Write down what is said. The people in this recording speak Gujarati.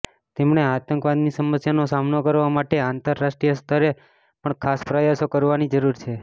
તેમણે આતંકવાદની સમસ્યાનો સામનો કરવા માટે આતંરરાષ્ટીય સ્તરે પણ ખાસ પ્રયાસો કરવાની જરૂર છે